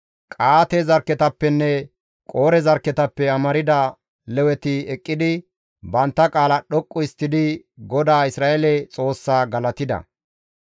Qa7aate zarkketappenne Qoore zarkketappe amarda Leweti eqqidi bantta qaala dhoqqu histtidi GODAA Isra7eele Xoossaa galatida.